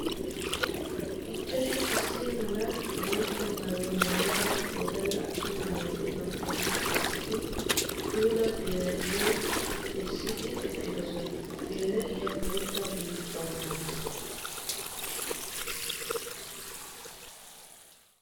Ichchashi issi mala bootta maayuwa maayidda wodalla atumma naati bantta giddon issi puula geela'iyo essiddi eqqidosonna. Geela'iya bootta bulukkuwa maayassu.